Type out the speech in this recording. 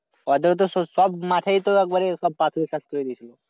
ওতে তো সব মাঠেই তো একবারে পাথর শেষ করে দিছে।